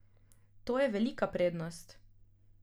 To je velika prednost.